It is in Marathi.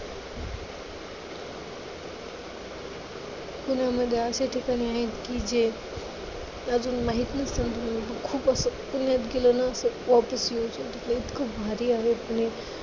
पुण्यामध्ये असे ठिकाणे आहेत की जे खूप असं पुण्यात गेलं ना असं इतकं भारी आहे पुणे.